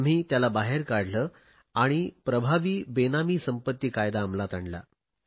आम्ही त्याला बाहेर काढले आणि प्रभावी बेनामी संपत्ती कायदा अंमलात आणला